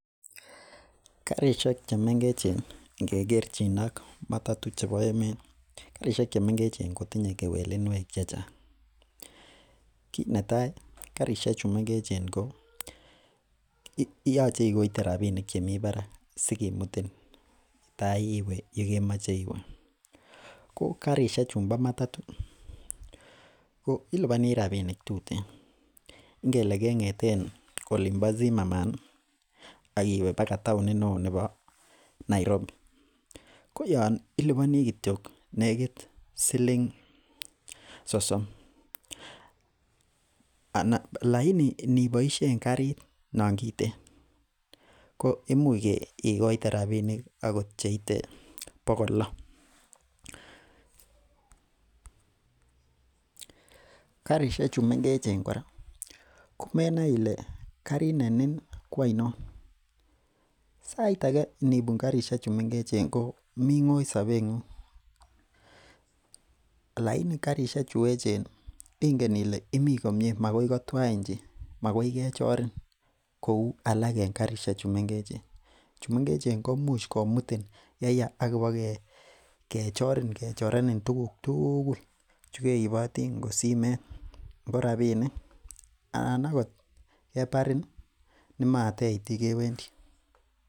Karisiek chemengechen ngekerchin ak matatu chebo emet karisiek chemengechen ko tinye kewelenwek chechang kit netai karisiek chu mengechen ko yoche ikoite rapisiek chemii barak sikimutin tai iwe yekemoche iwe ko karisiek chumbo matatu ko ilibonii rapisiek tuten ngele keng'eten olin bo Zimmerman ih ak iwe akoi taonit neoo nebo Nairobi ko yon ilibonii kityok nekit siling sosom lakini ngeboisyen karit non kiten ko imuch ikoite rapinik akot cheite bokol loo karisiek chu mengechen kora komenoe ile karit ne nin ko oinon sait age nibun karishek chu mengechen komii ng'oi sobet ng'ung lakini karisiek chu echen ingen ile imii komie makoi kotwain chi makoi kechorin kou alak en karisiek chu mengechen chu mengechen komuch komutin yeyaa ak kobo kechorin kechorenin tuguk tugul chekeiboti ngo simet, ngo rapinik anan akot kebarin ih nemateit yekewendii